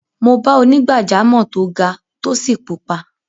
Mo bá onígbàjámọ̀ tó ga, tó sì pupa.